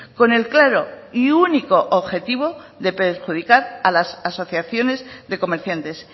con el claro y único objetivo de perjudicar a las asociaciones de comerciantes